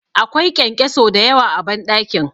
Akwai ƙyanƙyaso da yawa a banɗakin